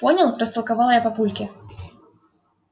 понял растолковала я папульке